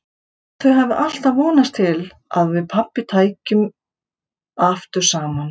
Ég held þau hafi alltaf vonast til að við pabbi þeirra tækjum saman aftur.